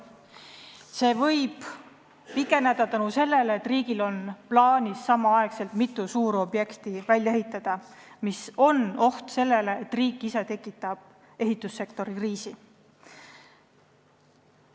Aeg võib pikeneda seetõttu, et riigil on plaanis samal ajal ehitada mitut suurobjekti, mis loob ohu, et riik ise tekitab ehitussektoris kriisi.